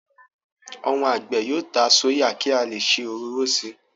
Àwọn àgbẹ̀ yóò ta sóyà ki a leè se òróró síi.